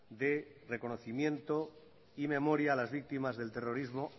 de reconocimiento y memoria a las víctimas del terrorismo